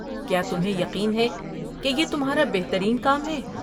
کیا تمہیں یقین ہے کہ یہ تمہارا بہترین کام ہے؟